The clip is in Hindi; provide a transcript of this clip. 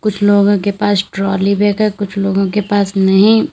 कुछ लोगों के पास ट्रॉली बैग है कुछ लोगों के पास नहीं।